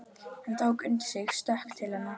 Hann tók undir sig stökk til hennar.